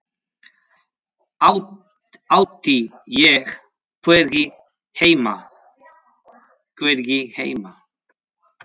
Átti ég hvergi heima?